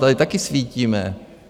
Tady taky svítíme.